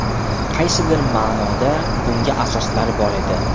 Qaysidir ma’noda bunga asoslar bor edi.